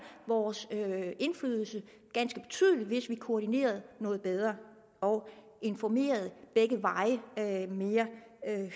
vores indflydelse ganske betydeligt hvis vi koordinerede noget bedre og informerede begge veje mere